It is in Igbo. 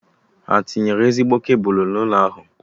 Ha tinyere ezigbo kebụlụ n'ụlọ ahụ?